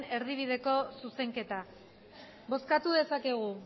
erdibideko zuzenketa bozkatu dezakegu